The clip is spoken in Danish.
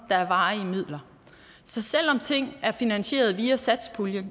der er varige midler så selv om ting er finansieret via satspuljen